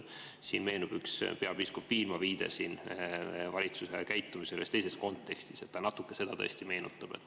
Siin meenub üks peapiiskop Viilma viide valitsuse käitumisele ühes teises kontekstis, see natuke seda tõesti meenutab.